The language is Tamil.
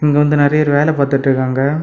இங்க வந்து நெறைய பேர் வேலை பார்த்துட்டு இருக்காங்க.